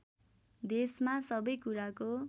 देशमा सबै कुराको